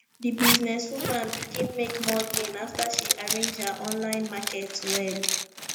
di business woman begin make more gain after she arrange her online market well